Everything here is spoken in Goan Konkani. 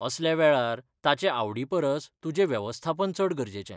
असल्या वेळार ताचे आवडीपरस तुजें वेवस्थापन चड गरजेचें.